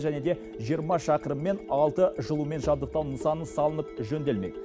және де жиырма шақырым мен алты жылумен жабдықтау нысаны салынып жөнделмек